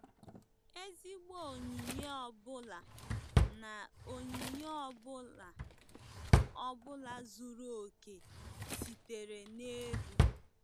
"Ezigbo onyinye ọ bụla na onyinye ọ bụla ọ bụla zuru oke sitere n'elu."